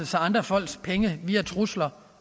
sig andre folks penge via trusler